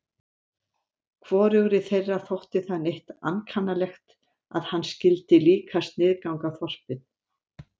Hvorugri þeirra þótti það neitt ankannalegt að hann skyldi líka sniðganga þorpið.